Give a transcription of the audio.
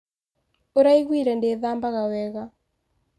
Ũraiguire ndiĩthambaga wega